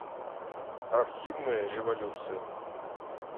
архивная революция